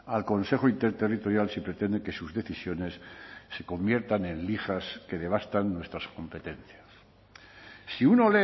al consejo interterritorial si pretende que sus decisiones se conviertan en lijas que devastan nuestras competencias si uno